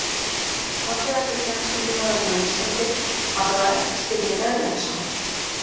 Fallegasti knattspyrnumaðurinn á Íslandi: Allavega ekki Styrmir Erlendsson.